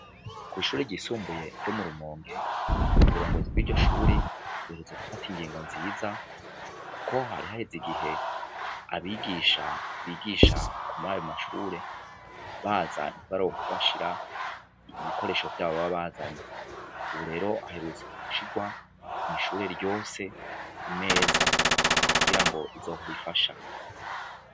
Kw'ishure ryisumbuye ryo mu Rumonge, uburongozi bw'iryo shuri buherutse gufata ingingo nziza kuko hari haheze igihe abigisha bigisha kur'ayo mashure baza ntibaronke aho bashira ibikoresho vyabo baba bazanye. Ubu rero haherutse gushirwa kw'ishure ryose imeza kugira ngo izohore ifasha.